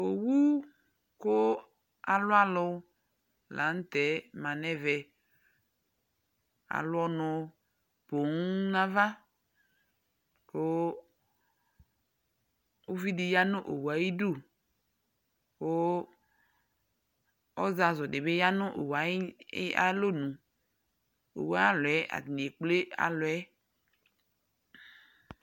Owu kʋ alʋ alʋ la nʋ tɛ ma nʋ ɛvɛ Alʋ ɔnʋ poo nʋ ava kʋ uvi dɩ ya nʋ owu yɛ ayɩdu kʋ ɔzazʋ dɩ bɩ ya nʋ owu yɛ ayʋ ɩ ayalɔnu Owu yɛ ayʋ alɔ yɛ atanɩ ekple alɔ yɛ